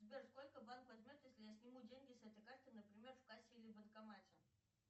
сбер сколько банк возьмет если я сниму деньги с этой карты например в кассе или банкомате